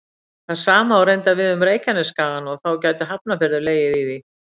Það sama á reyndar við um Reykjanesskagann og þá gæti Hafnarfjörður legið í því.